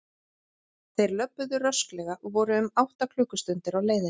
Þeir löbbuðu rösklega og voru um átta klukkustundir á leiðinni.